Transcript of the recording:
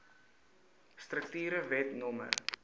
strukture wet no